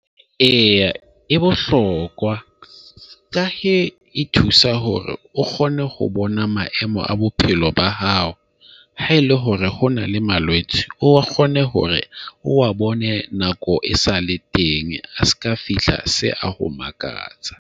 Eya, e bohlokwa ka he e thusa hore o kgone ho bona maemo a bophelo ba hao haele hore ho na le malwetse, o kgone hore o wa bone nako e sale teng a seka fihla se a ho makatsa.